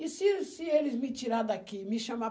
E se se eles me tirarem daqui, me chamar...